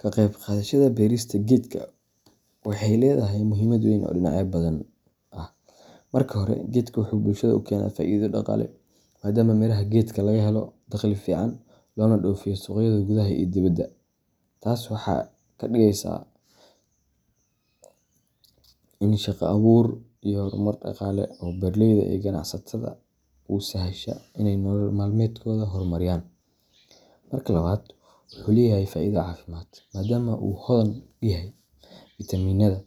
Ka qeyb qaadashada beerista geedka waxay leedahay muhiimad weyn oo dhinacyo badan ah. Marka hore, geedka wuxuu bulshada u keenaa faa’iido dhaqaale, maadaama miraha gedka laga helo dakhli fiican, loona dhoofiyo suuqyada gudaha iyo dibadda. Taas waxa ay ka dhigeysaa ini shaqo abuur iyo horumar dhaqaale oo beeraleyda iyo ganacsatada u sahasha inay nolol maalmeedkooda horumariyaan. Marka labaad, wuxuu leeyahay faa’iido caafimaad, maadaama uu hodan ku yahay fiitamiinada,